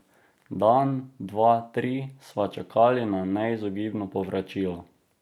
Dan, dva, tri sva čakali na neizogibno povračilo.